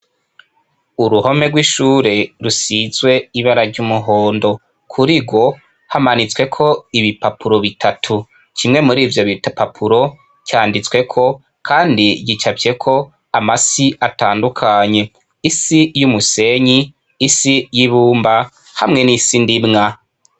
Uruhome rw'ishure rusizwe ibara ry'umuhondo. Kuri rwo hamanitsweko ibipapuro bitatu. Kimwe murivyo bipapuro canditsweko, kandi gicafyeko amasi atandukanye : isi y'umusenyi, isi y'ibumba, hamwe n'isi ndimwa.